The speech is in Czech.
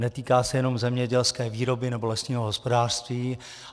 Netýká se jenom zemědělské výroby nebo lesního hospodářství.